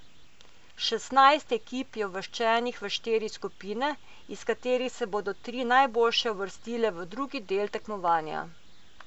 Šestnajst ekip je uvrščenih v štiri skupine, iz katerih se bodo tri najboljše uvrstile v drugi del tekmovanja.